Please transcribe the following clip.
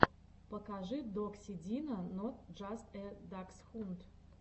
покажи докси дина нот джаст э даксхунд